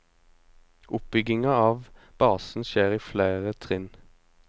Oppbygginga av basen skjer i fleire trinn.